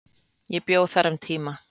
Ég bjó þar um tíma.